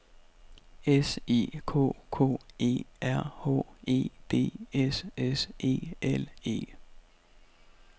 S I K K E R H E D S S E L E